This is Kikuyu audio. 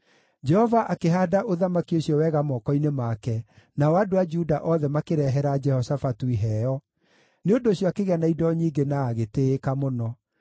Jehova akĩhaanda ũthamaki ũcio wega moko-inĩ make, nao andũ a Juda othe makĩrehera Jehoshafatu iheo; nĩ ũndũ ũcio akĩgĩa na indo nyingĩ na agĩtĩĩka mũno.